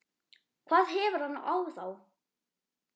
hvað hefur hann á þá?